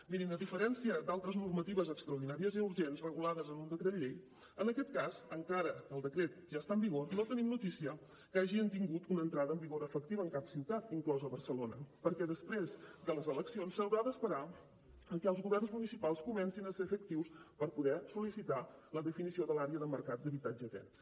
mirin a diferència d’altres normatives extraordinàries i urgents regulades en un decret llei en aquest cas encara que el decret ja està en vigor no tenim notícia que hagin tingut una entrada en vigor efectiva en cap ciutat inclosa barcelona perquè després de les eleccions s’haurà d’esperar a que els governs municipals comencin a ser efectius per poder sol·licitar la definició de l’àrea de mercat d’habitatge tens